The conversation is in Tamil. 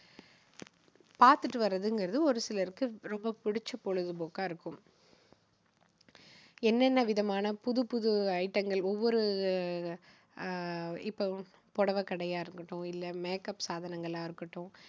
பாத்துட்டு வர்றதுங்குறது ஒரு சிலருக்கு ரொம்ப புடிச்ச பொழுதுபோக்கா இருக்கும். என்னென்ன விதமான புது புது item கள் ஒவ்வொரு அஹ் இப்போ புடவைக்கடையா இருக்கட்டும் இல்ல make up சாதனங்களா இருக்கட்டும்